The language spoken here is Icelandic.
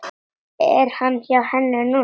Er hann hjá henni núna?